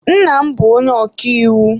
Ee, nna m bụ onye ọkàiwu.